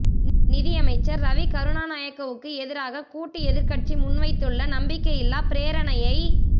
நிதியமைச்சர் ரவி கருணாநாயக்கவுக்கு எதிராக கூட்டு எதிர்க்கட்சி முன்வைத்துள்ள நம்பிக்கையில்லாப் பிரேரணையை